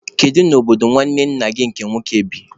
Kedu n'obodo nwanne nna gị nke nwoke bi?